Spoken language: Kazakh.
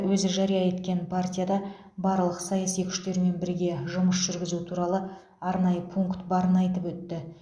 өзі жария еткен партияда барлық саяси күштермен бірге жұмыс жүргізу туралы арнайы пункт барын айтып өтті